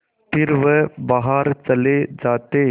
फिर वह बाहर चले जाते